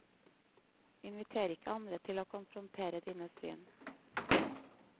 Inviterer ikke andre til å konfrontere dine syn.